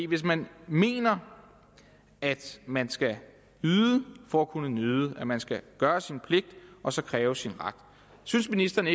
hvis man mener at man skal yde for at kunne nyde at man skal gøre sin pligt og så kræve sin ret synes ministeren